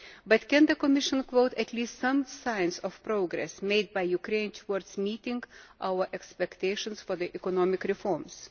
But can the Commission quote at least some signs of progress made by Ukraine towards meeting our expectations for the economic reforms?